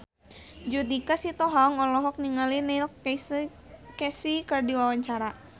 Judika Sitohang olohok ningali Neil Casey keur diwawancara